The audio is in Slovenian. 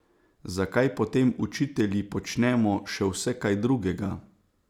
Zakaj potem učitelji počnemo še vse kaj drugega?